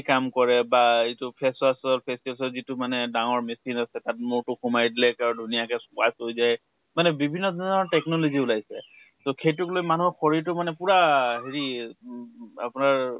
কাম কৰে বা এইটো face wash ৰ face wash যিটো মানে ডাঙৰ machine আছে, তাত মোৰ তো সোমাই দিলে, আৰু ধুনীয়াকে হৈ যায় । মানে বিভিন্ন ধৰণৰ technology উলাইছে । তʼ সেইটোক লৈ মানুহৰ শৰীৰ তো মানে পুৰা হেৰি উ উ আপোনাৰ